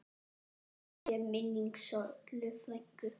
Blessuð sé minning Sollu frænku.